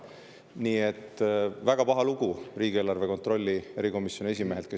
Nii et väga paha lugu on riigieelarve kontrolli erikomisjoni esimehega.